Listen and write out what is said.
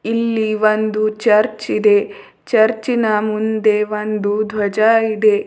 ಇಲ್ಲಿ ಒಂದು ಚರ್ಚ್ ಇದೆ ಚರ್ಚಿ ನ ಮುಂದೆ ದ್ವಜ ಇದೆ.